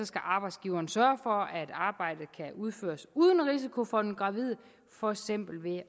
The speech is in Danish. skal arbejdsgiveren sørge for at arbejdet kan udføres uden risiko for den gravide for eksempel ved